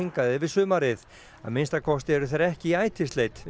að minnsta kosti eru þeir ekki í inni á fjörðum